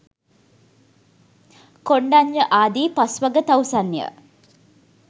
කොණ්ඩඤ්ඤ ආදී පස්වග තවුසන්ය.